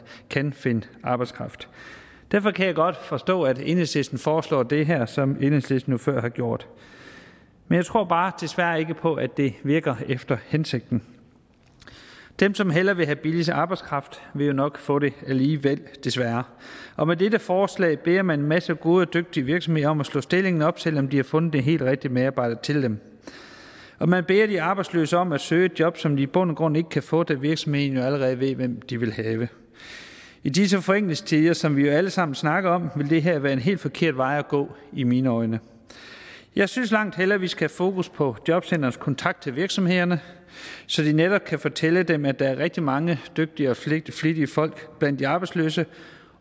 kan finde arbejdskraft derfor kan jeg godt forstå at enhedslisten foreslår det her som enhedslisten jo før har gjort men jeg tror bare desværre ikke på at det virker efter hensigten dem som hellere vil have billig arbejdskraft vil jo nok få det alligevel desværre og med dette forslag beder man en masse gode og dygtige virksomheder om at slå stillingen op selv om de har fundet den helt rigtige medarbejder til den og man beder de arbejdsløse om at søge et job som de i bund og grund ikke kan få da virksomheden jo allerede ved hvem de vil have i disse forenklingstider som vi jo alle sammen snakker om vil det her være en helt forkert vej at gå i mine øjne jeg synes langt hellere vi skal have fokus på jobcentrenes kontakt til virksomhederne så de netop kan fortælle dem at der er rigtig mange dygtige og flittige folk blandt de arbejdsløse